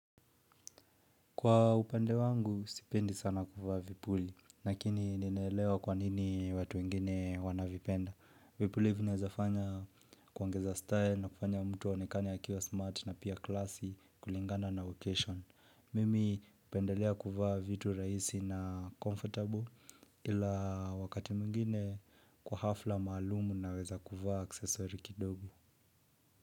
Kwa upande wangu, sipendi sana kuvaa vipuli, lakini ninaelewa kwa nini watu wengine wanavipenda. Vipuli vinawezafanya kuongeza style na kufanya mtu aonekane akiwa smart na pia classy kulingana na location. Mimi hupendelea kuvaa vitu rahisi na comfortable ila wakati mwingine kwa hafla maalumu naweza kuvaa aksesori kidogo.